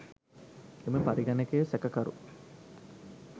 එම පරිගණකය සැකකරු